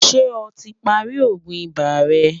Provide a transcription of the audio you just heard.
ṣé ọ tí pá rí ògún ibà rè?